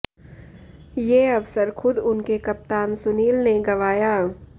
ये अवसर खुद उनके कप्तान सुनील ने गंवाया